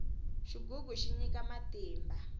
xigugu xi nyika matimba